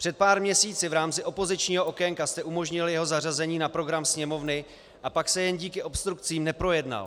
Před pár měsíci v rámci opozičního okénka jste umožnili jeho zařazení na program Sněmovny a pak se jen díky obstrukcím neprojednal.